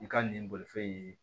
I ka nin bolifɛn in